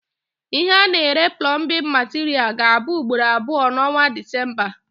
Ihe A na- ere plọmbin materials ga abụ ugboro abụọ na onwa December